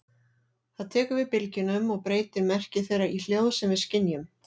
Það tekur við bylgjunum og breytir merki þeirra í hljóð sem við skynjum.